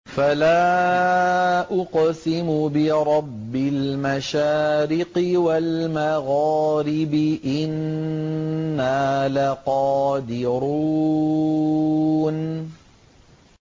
فَلَا أُقْسِمُ بِرَبِّ الْمَشَارِقِ وَالْمَغَارِبِ إِنَّا لَقَادِرُونَ